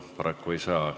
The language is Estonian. Paraku ei saa.